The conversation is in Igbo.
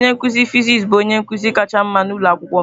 Onye nkuzi fịsịsị bụ onye nkuzi kacha mma n'ụlọ akwụkwọ m.